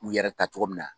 U yɛrɛ ta cogo min na